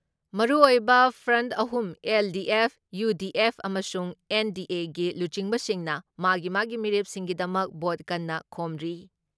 ꯃꯔꯨꯑꯣꯏꯕ ꯐ꯭ꯔꯟ ꯑꯍꯨꯝ LDF, UDF ꯑꯃꯁꯨꯡ ꯑꯦꯟ.ꯗꯤ.ꯑꯦꯒꯤ ꯂꯨꯆꯤꯡꯕꯁꯤꯡꯅ ꯃꯥꯒꯤ ꯃꯥꯒꯤ ꯃꯤꯔꯦꯞꯁꯤꯡꯒꯤꯗꯃꯛ ꯚꯣꯠ ꯀꯟꯅ ꯈꯣꯝꯔꯤ ꯫